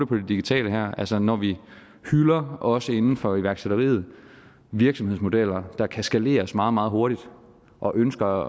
det digitale her altså når vi hylder også inden for iværksætteriet virksomhedsmodeller der kan skaleres meget meget hurtigt og ønsker